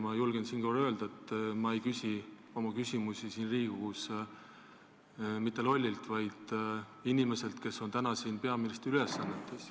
Ma julgen siinkohal öelda, et ma ei esita oma küsimusi siin Riigikogus mitte lollile, vaid inimesele, kes on täna siin peaministri ülesannetes.